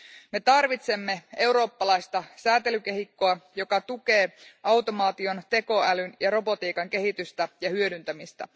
Me tarvitsemme eurooppalaista sääntelykehikkoa, joka tukee automaation, tekoälyn ja robotiikan kehitystä ja hyödyntämistä.